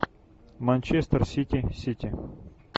манчестер сити сити